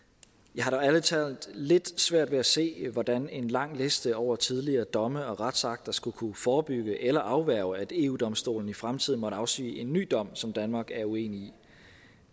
jeg har dog ærlig talt lidt svært ved at se hvordan en lang liste over tidligere domme og retsakter skulle kunne forebygge eller afværge at eu domstolen i fremtiden måtte afsige en ny dom som danmark er uenig i